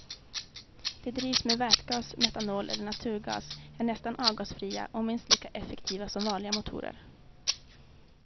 De drivs med vätgas, metanol eller naturgas, är nästan avgasfria och minst lika effektiva som vanliga motorer.